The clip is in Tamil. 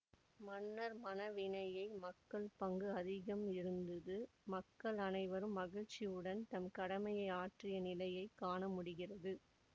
மனன்ர் மண வினையில் மக்கள் பங்கு அதிகம் இருந்தது மக்கள் அனைவரும் மகிழ்ச்சியுடன் தம் கடமை ஆற்றிய நிலையை காண முடிகிறது